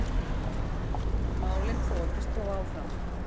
Málin þokist þó áfram.